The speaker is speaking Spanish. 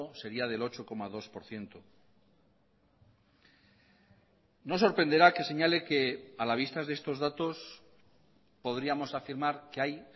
sería del ocho coma dos por ciento no sorprenderá que señale que a la vista de estos datos podríamos afirmar que hay